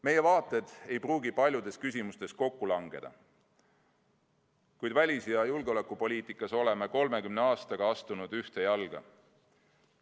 Meie vaated ei pruugi paljudes küsimustes kokku langeda, kuid välis- ja julgeolekupoliitikas oleme 30 aastat astunud ühte jalga.